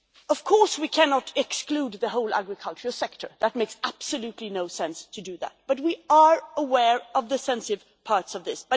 Of course we cannot exclude the whole agricultural sector that makes absolutely no sense but we are aware of the sensitive parts of this.